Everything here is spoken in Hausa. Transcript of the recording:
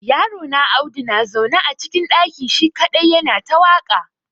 Yarona Audu na zaune a cikin ɗaki shi kadai ya na ta waƙa.